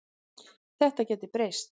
Þetta gæti breyst.